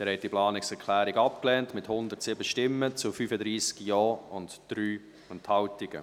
Sie haben die Planungserklärung 3 abgelehnt, mit 107 Nein- gegen 35 Ja-Stimmen bei 3 Enthaltungen.